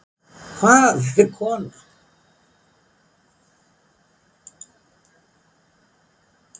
Hvað er kona?